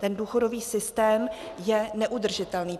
Ten důchodový systém je neudržitelný.